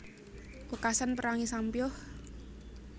Wekasan perangé sampyuh